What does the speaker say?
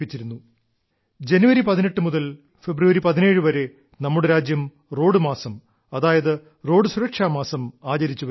ആ മാസത്തിൽ തന്നെ ജനുവരി 18 മുതൽ ഫെബ്രുവരി 17 വരെ നമ്മുടെ രാജ്യം റോഡ് മാസം അതായത് റോഡ് സുരക്ഷാ മാസം ആചരിച്ചു വരുന്നു